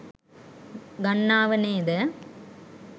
ගන්නාව නේද?